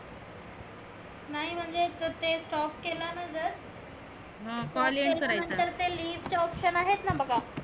नाही म्हणजे जर ते stop केलं ना जर त्याच्या नंतर ते leave च option आहे ना बघा